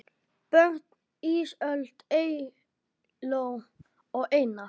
Börn: Ísold, Eygló og Einar.